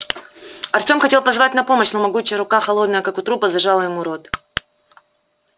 артем хотел позвать на помощь но могучая рука холодная как у трупа зажала ему рот